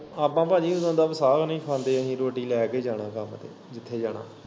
ਆਪਾਂ ਭਾਜੀ ਉਦੋ ਦਾ ਵਸਾ ਨੀ ਖਾਂਦੇ ਅਹੀ ਰੋਟੀ ਲੈ ਕੇ ਜਾਣਾ ਕੰਮ ਤੇ ਜਿੱਥੇ ਜਾਣਾ।